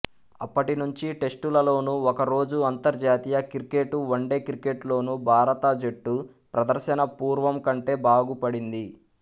అప్పటినుంచి టెస్టులలోనూ ఒకరోజు అంతర్జాతీయ క్రికెట్ వన్డే క్రికెట్ లోనూ భారత జట్టు ప్రదర్శన పూర్వం కంటే బాగుపడింది